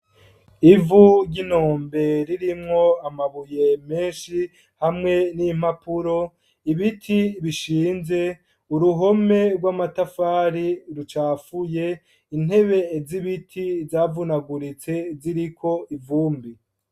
Ivu ry'inombe, ririmwo amabuye menshi, hamwe n'impapuro; ibiti bishinze, uruhome rw'amatafari, rucafuye; intebe z'ibiti, zavunaguritse, ziriko ivumbi.